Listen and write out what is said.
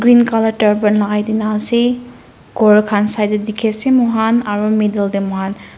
colour lakai tina ase kor kan side dae tiki ase moi kan aro middle dae moi kan.